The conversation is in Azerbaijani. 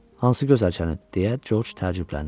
Hansı gözəlçəni, deyə Corc təəccübləndi.